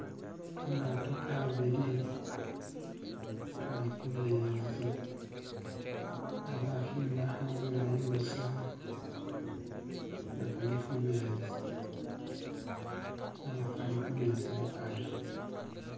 kamato kabili kalihumezi nga bahimbaha bulayi busa nga kali humezi kali humezi akari